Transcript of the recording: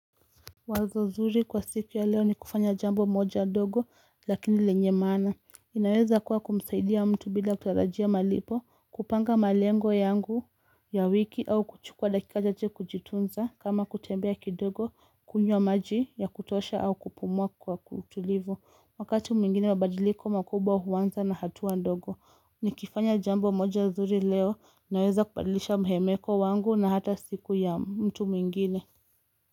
Wazo zuri kwa siku ya leo ni kufanya jambo moja ndogo lakini lenye maana inaweza kuwa kumsaidia mtu bila kutarajia malipo kupanga malengo yangu ya wiki au kuchukua dakika chache kujitunza kama kutembea kidogo kunywa maji ya kutosha au kupumua kwa utulivu wakati mwingine mabadiliko makubwa huanza na hatua ndogo ni kifanya jambo moja zuri leo naweza kubadilisha mhemeko wangu na hata siku ya mtu mwingine.